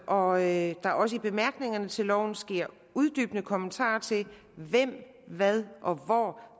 og at der er også i bemærkningerne til loven sker uddybende kommentarer til hvem hvad og hvor